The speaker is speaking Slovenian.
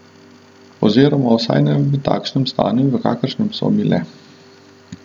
Oziroma vsaj ne v takšnem stanju, v kakršnem so bile.